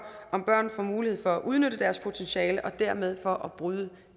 om børn får mulighed for at udnytte deres potentiale og dermed for at bryde